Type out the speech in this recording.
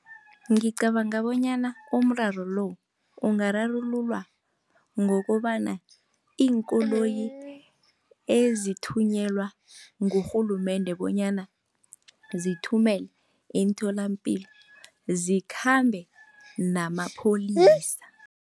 Ngicabanga bonyana umraro lo, ungararululwa ngokobana iinkoloyi ezithunyelwa ngurhulumende bonyana zithumelwe emtholampilo zikhambe namapholisa.